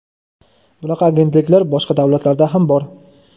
Bunaqa agentliklar boshqa davlatlarda ham bor.